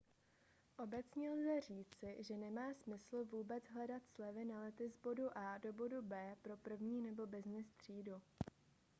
obecně lze říci že nemá smysl vůbec hledat slevy na lety z bodu a do bodu b pro první nebo byznys třídu